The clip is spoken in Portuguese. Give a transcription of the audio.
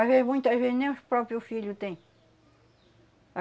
Às vezes, muitas vezes, nem os próprio filho têm.